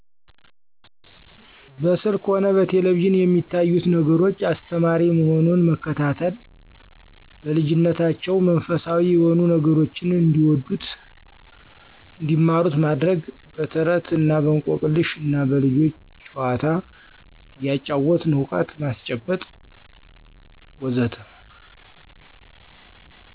በስልክ ሆነ በቴሌቪዥን የሚያዩት ነገር አስተማሪ መሆኑን መከታተል። በልጂነታቸው መንፈሳዊ የሆኑ ነገሮችን እንዲወዱት እንዲማሩት ማድረግ። በተረት እና በእንቆቅልሽ እና በልጆች ጨዋታ እያጫወትን እውቀት ማስጨበጥ.. ወዘተ